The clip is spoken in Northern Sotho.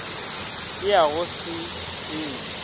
le ya go se senye